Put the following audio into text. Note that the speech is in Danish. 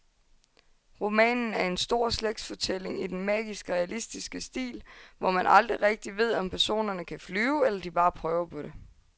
Romanen er en stor slægtsfortælling i den magisk realistiske stil, hvor man aldrig rigtigt ved, om personerne kan flyve eller de bare prøver på det.